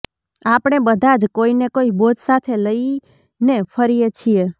આપણે બધા જ કોઈ ને કોઈ બોજ સાથે લઈને ફરીએ છીએ